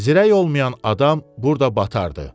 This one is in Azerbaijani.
Zirək olmayan adam burda batardı.